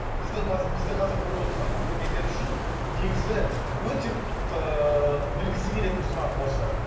біздің қазір бізді қазір көріп отырған көрермендер үшін негізі өте ыыы білгісі келетін сұрақ осы